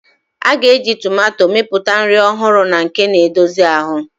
A ga-eji tomato mepụta nri ọhụrụ na nke na-edozi ahụ.